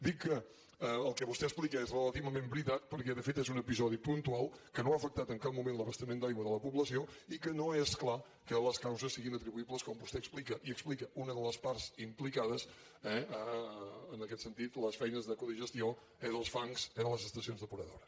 dic que el que vostè explica és relativament veritat perquè de fet és un episodi puntual que no ha afectat en cap moment l’abastiment d’aigua de la població i que no és clar que les causes siguin atribuïbles com vostè explica i explica una de les parts implicades eh en aquest sentit a les feines de codigestió dels fangs de les estacions depuradores